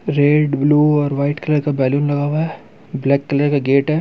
Red blue और white colour का balloon लगा हुआ है ब्लैक कलर का गेट है।